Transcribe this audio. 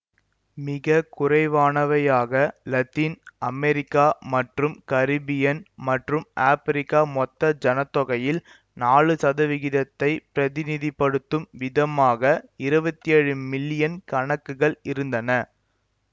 மிக குறைவானவையாக Latin America மற்றும் கரீபியன் மற்றும் ஆப்பிரிக்கா மொத்த ஜன தொகையில் நாலு சதவிகிதத்தைப் பிரதிநிதிப்படுத்தும் விதமாக இருவத்தி ஏழு மில்லியன் கணக்குகள் இருந்தன